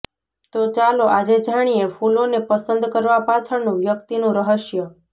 તો ચાલો આજે જાણીએ ફૂલોને પસંદ કરવા પાછળનું વ્યક્તિનું રહસ્ય